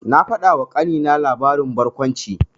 Na faɗawa ƙanina labarin barkwanci.